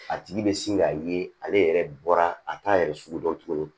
A tigi bɛ sin ka ye ale yɛrɛ bɔra a t'a yɛrɛ sugu dɔn tuguni